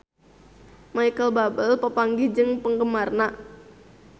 Micheal Bubble papanggih jeung penggemarna